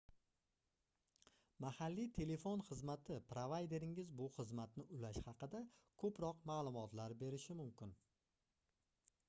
mahalliy telefon xizmati provayderingiz bu xizmatni ulash haqida koʻproq maʼlumotlar berishi mumkin